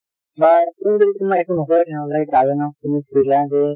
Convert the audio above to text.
বা তেওঁক যদি কোনোবা একো নকয় তেনেহলে guardian ক তুমি সুধিলা যে